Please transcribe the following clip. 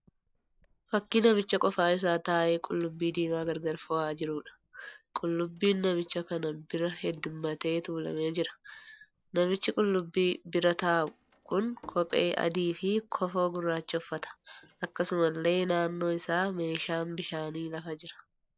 Fakkii namicha qofaa isaa taa'ee qullubbii diimaa gargar fo'aa jiruudha. Qullubbiin namicha kana bira heedduummatee tuulamee jira. Namichi qullubbii bira taa'u kun kophee adii fi kofoo gurraacha uffata. Akkasumallee naanno isaa meeshaan bishaanii lafa jira.